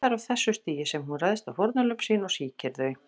Það er á þessu stigi sem hún ræðst á fórnarlömb sín og sýkir þau.